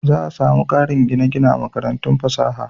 Za a sami ƙarin gine-gine a makarantun fasaha.